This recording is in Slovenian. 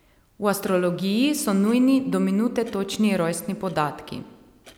V astrologiji so nujni do minute točni rojstni podatki.